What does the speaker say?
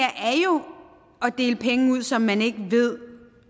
dele penge ud som man ikke ved